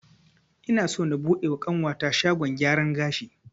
Ina so na buɗe wa ƙanwata shagon gyaran gashi